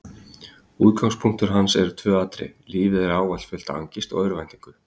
Útgangspunktur hans eru tvö atriði: lífið er ávallt fullt af angist og örvæntingu.